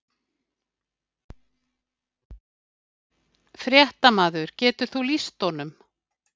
Fréttamaður: Getur þú lýst honum?